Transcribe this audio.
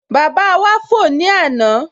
Bàbá wá fò ní àná